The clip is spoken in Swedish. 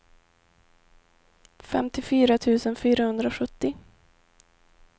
femtiofyra tusen fyrahundrasjuttio